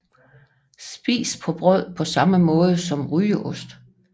Spises på brød på samme måde som rygeost